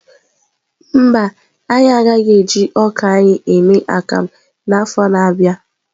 Mba, anyị agaghị eji ọka anyị eme akamu n'afọ a na-abịa.